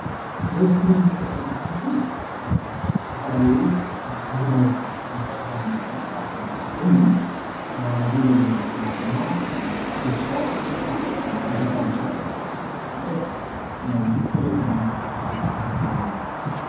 እዚ ኣብ እስክሪን ንሪኦ ዘለና ምስሊ ዝተፈላለዩ ንግዳዊ ምትዕድዳግን ምንቅስቃስ ዘመላክት ኾይኑ ኣብዙይ ዘለው ሰባት ድማ ፊሽቶ ምሻጥ፣ ኮቦርታ ምሻጥ እዪ ዘርእየና ዘሎ ።